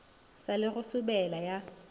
sa le go sobela ya